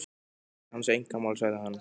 Þetta er hans einkamál, sagði hann.